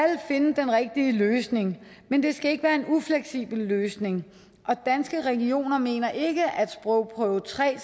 finde den rigtige løsning men det skal ikke være en ufleksibel løsning og danske regioner mener ikke at sprogprøve tre